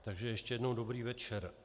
Takže ještě jednou dobrý večer.